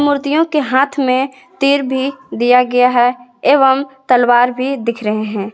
मूर्तियों के हाथ में तीर भी दिया गया है एवं तलवार भी दिख रहे हैं।